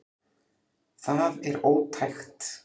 Það er ótækt